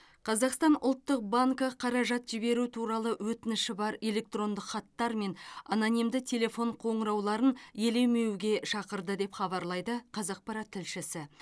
қазақстан ұлттық банкі қаражат жіберу туралы өтініші бар электрондық хаттар мен анонимді телефон қоңырауларын елемеуге шақырады деп хабарлайды қазақпарат тілшісі